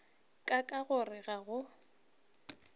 ka ka gore ga go